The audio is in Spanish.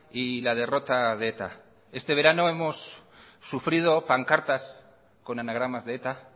y la derrota de eta este verano hemos sufrido pancartas con anagramas de eta